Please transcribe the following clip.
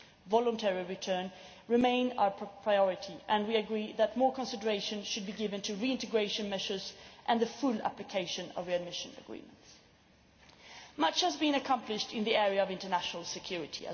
Voluntary return remains our priority, and we agree that more consideration should be given to reintegration measures and the full application of readmission agreements. Much has also been accomplished in the area of international security.